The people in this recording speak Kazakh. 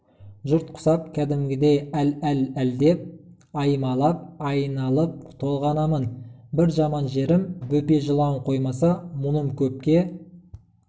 жұрт құсап кәдімгідей әл әл әлдеп аймалап айналып-толғанамын бір жаман жерім бөпе жылауын қоймаса мұным көпке